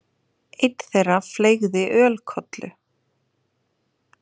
Einn þeirra fleygði ölkollu.